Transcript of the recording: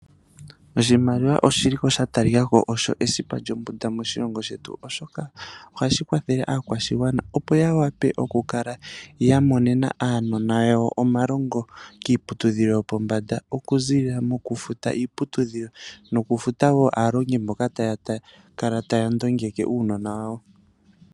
Oshimaliwa oshili ko shatalikako osho esipa lyombunda moshilongo shetu oshoka oha Shikwathele akwashingwana opo yawape oku kala yamonena aanona yawo omalongo kiiputudhilo yo pombanda oku zilila moku futa iiputudhilo nokufuta wo aalongi mboka takala taya ndongeke uunona wawo.